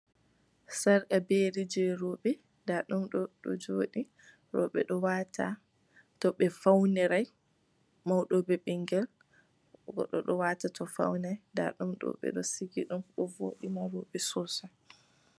Sarga be yeri je roɓe, nda ɗum ɗo joɗi, roɓe ɗo wata to ɓe faunirai, mauɗo be ɓingel goɗɗo ɗo wata to faunai nda ɗum ɗo ɓeɗo sigi ɗum ɗo voɗina roɓe sosai.